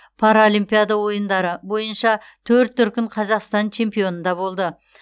паралимпиада ойындары бойыннша төрт дүркін қазақстан чемпионында болды